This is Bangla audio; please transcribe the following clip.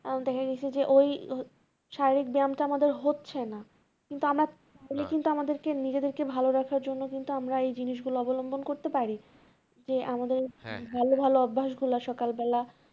এখন দ্যাখা গেছে যে ওই শারীরিক বয়ামটা আমাদের হচ্ছে না কিন্তু আমার আমাদেরকে নিজেদের রাখার জন্য কিন্তু আমরা এই জিনিস গুলো অবলম্বন করতে পারি যে আমাদের ভালো ভালো অভ্যাস গুলো সকালবেলা